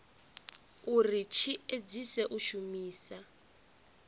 uri tshi edzise u shumisa